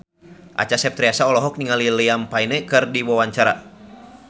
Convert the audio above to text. Acha Septriasa olohok ningali Liam Payne keur diwawancara